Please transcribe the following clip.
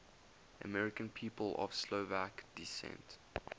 american people of slovak descent